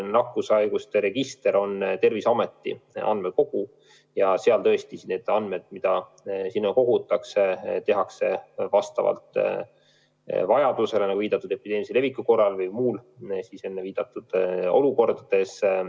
Nakkushaiguste register on Terviseameti andmekogu ja seal on tõesti nii, et need andmed, mida sinna kogutakse, tehakse kättesaadavaks vastavalt vajadusele, nagu viidatud, epideemilise leviku korral või muudes, enne viidatud olukordades.